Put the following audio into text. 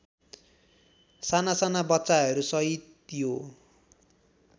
सानासाना बच्चाहरूसहित यो